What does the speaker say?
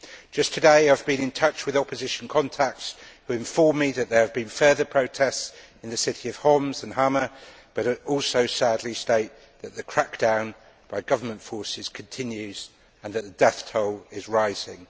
Just today, I have been in touch with opposition contacts who inform me that there have been further protests in the city of Homs and in Hama, but also sadly state that the crackdown by government forces continues and that the death toll is rising.